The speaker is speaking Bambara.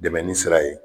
Dɛmɛni sira ye